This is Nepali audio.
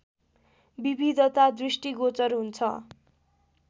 विविधता दृष्टिगोचर हुन्छ